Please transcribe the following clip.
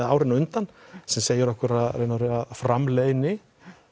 árin á undan sem segir okkur í raun og veru að framleiðni